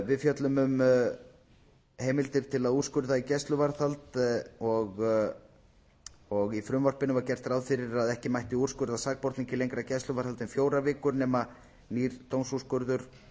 við fjöllum um heimildir til að úrskurða í gæsluvarðhald í frumvarpinu var gert ráð fyrir að ekki mætti úrskurða sakborning í lengra gæsluvarðhald en fjórar vikur nema nýr dómsúrskurður